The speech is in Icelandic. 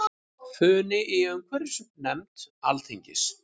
Funi í umhverfisnefnd Alþingis